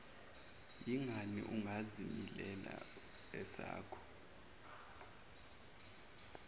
yingani ungazilimeli esakho